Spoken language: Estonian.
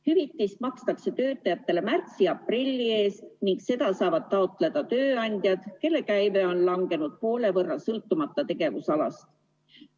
Hüvitist makstakse töötajatele märtsi-aprilli eest ning seda saavad taotleda tööandjad, kelle käive on langenud poole võrra, sõltumata tegevusalast.